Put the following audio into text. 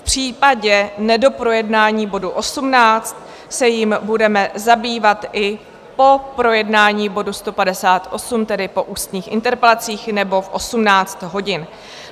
V případě nedoprojednání bodu 18 se jím budeme zabývat i po projednání bodu 158, tedy po ústních interpelacích nebo v 18 hodin.